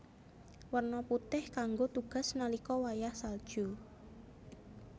Werna putih kanggo tugas nalika wayah salju